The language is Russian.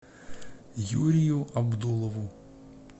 юрию абдулову